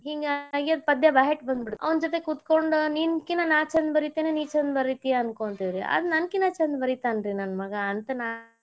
ಮಗಾಗ ನಾನ್ ಹಿಂಗಾಗೆ ಪದ್ಯ byheart ಬಂದ್ಬಿಡ್ತ್ ಅವ್ನ ಜೊತೆ ಕೂತ್ಕೊಂಡ್ ನೀನ ಕಿನಾ ನಾನ್ ಚಂದ್ ಬರಿತೇನೆ ನೀ ಚಂದ್ ಬರೀತಿಯ ಅನ್ಕೊಂತಿವರಿ ಆಗ ನನ್ ಕಿನಾ ಚಂದ ಬರೀತಾನ ರೀ ನನ್ನ ಮಗಾ ಅಂತ ನಾನ್.